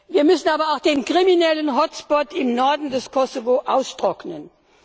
Wir müssen aber auch den kriminellen Hotspot im Norden des Kosovo austrocknen.